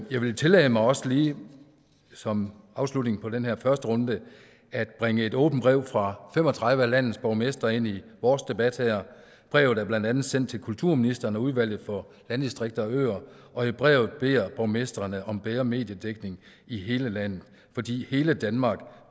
jeg vil tillade mig også lige som afslutning på den her første runde at bringe et åbent brev fra fem og tredive af landets borgmestre ind i vores debat her brevet er blandt andet sendt til kulturministeren og udvalget for landdistrikter og øer og i brevet beder borgmestrene om bedre mediedækning i hele landet fordi hele danmark